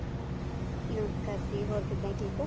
ਨਮਸ਼ਕਾਰ ਜੀ ਹੋਰ ਕਿੱਦਾਂ ਠੀਕ ਹੋ